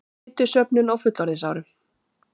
Fitusöfnun á fullorðinsárum